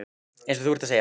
Eins og þú ert að segja.